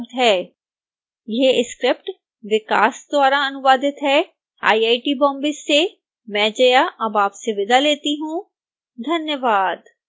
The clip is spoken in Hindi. यह स्क्रिप्ट विकास द्वारा अनुवादित है आईआईटी बॉम्बे से मैं जया अब आपसे विदा लेती हूँ धन्यवाद